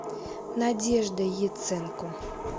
надежда яценко